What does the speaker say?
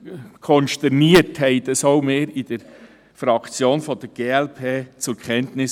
Konsterniert nahmen auch wir dieses seitens der Glp-Fraktion zur Kenntnis.